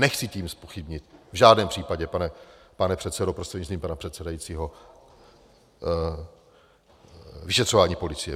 Nechci tím zpochybnit v žádném případě, pane předsedo prostřednictvím pana předsedajícího, vyšetřování policie.